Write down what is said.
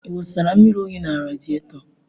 Ị wụsara mmiri oyi na radieto?